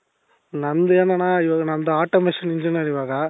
ನಂದೇನಣ್ಣ ಇವಾಗ ನಮ್ದು automation engineer ಇವಾಗ .